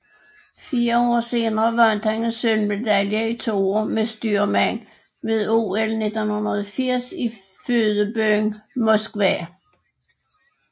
Fire år senere vandt han en sølvmedalje i toer med styrmand ved OL 1980 i fødebyen Moskva